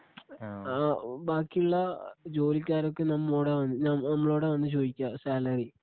ബാക്കിയുള്ള ജോലിക്കാരൊക്കെ നമ്മളോടാ വന്ന് നമ്മ നമ്മളോടാ വന്ന് ചോയിക്ക സാലറി.